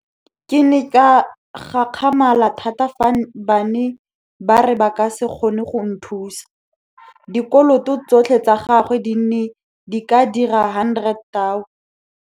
Ke ne ka gakgamala thata fa ba ne ba re ba ka se kgone go nthusa. Dikoloto tsotlhe tsa gagwe di ne di ka dira R100 000.